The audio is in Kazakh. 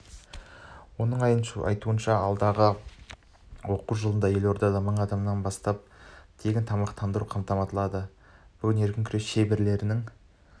оның айтуынша алдағы оқу жылында елордада мыңнан астам бала тегін тамақтандырумен қамтылады бүгін еркін күрес шеберлерінің